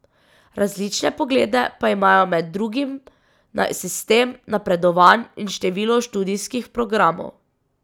Različne poglede pa imajo med drugim na sistem napredovanj in število študijskih programov.